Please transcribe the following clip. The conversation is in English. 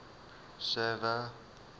server